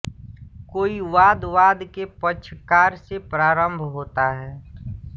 कोई वाद वाद के पक्षकार से प्रारम्भ होता है